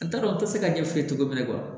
N t'a dɔn n tɛ se ka ɲɛf'i ye cogo min na